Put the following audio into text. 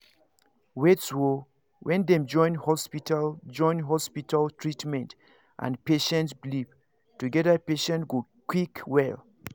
wait o when dem join hospital join hospital treatment and patient belief together patients go quick well